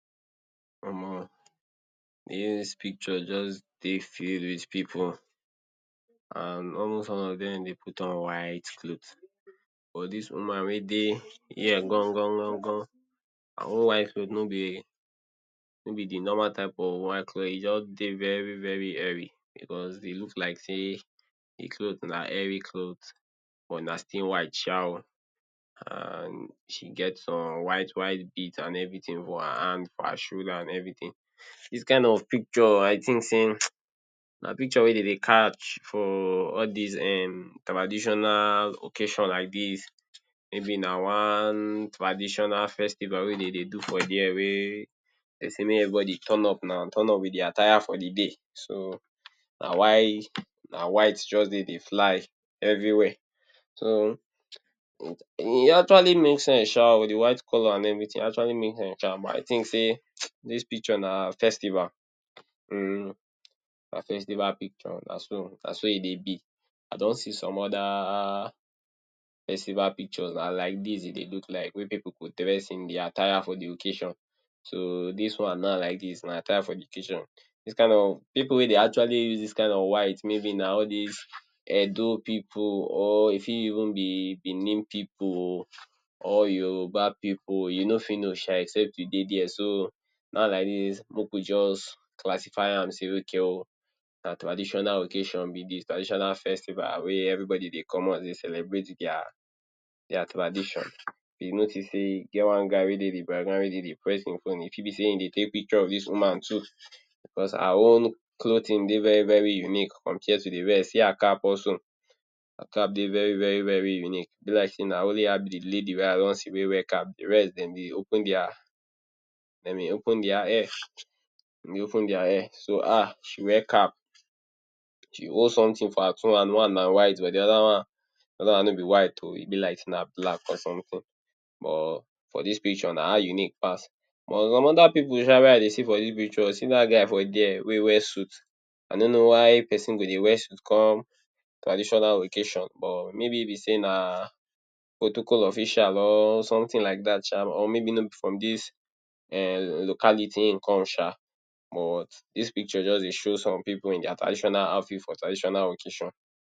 Omo de way dis picture just dey filled with pipu and almost all of dem dey put on white cloth but dis woman wey dey here gongon gongon, her own white cloth nor be nor be de normal type of white cloth. E just dey very very hairy because e look like sey im cloth na hairy cloth but na still white sha oo and she get some white white beads and everything white her handbag, her shoulder and everything. Dis kind of picture I think sey um na picture wey de dey catch for all dis um traditional occasion like dis, maybe na one traditional festival wey de dey do for there wey de sey make everybody turn up now turn up with their attire for de day, so na why na white just dey dey fly everywhere. So e actually make sense sha oo de white colour and everything e actually make sense but I think sey um dis picture na festival um, na festival picture na so na so e dey be. I don see some other festival pictures, na like dis e dey look like wey pipu go dress in their attire for de occasion, so dis one na like dis na attire for de occasion. Dis kind of pipu wey dey actually use dis kind of white maybe na all dis Edo pipu or e fit even be Benin pipu or Yoruba pipu, you nor fit know sha except you dey there. So now like dis make we just classify am sey ok oo na traditional occasion be dis, traditional festival wey everybody dey come out dey celebrate their their tradition. You notice sey e get one guy wey dey de background wey dey dey press im phone e fit be sey him dey take picture of dis woman too, because her own clothing dey very very unique compared to the rest, see her cap also her cap dey very very very unique, be like sey na only her be de lady wey I don see wey wear cap, de rest dem dey open their dem dey open their hair open their hair, so her she wear cap, she hold something for her two hand, one na white but de other one de other one nor be white um be like sey na black or something or for dis picture na her unique pass but some other pipu sha wey I dey see for dis pictures, see dat guy for there wey wear suit, I nor know why person go dey wear suit come traditional occasion for, maybe be sey na protocol official or something like dat sha or maybe nor be from dis um localiti him come sha but dis picture just dey show some pipu in their traditional outfit for traditional occasion.